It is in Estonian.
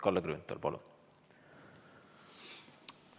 Kalle Grünthal, palun!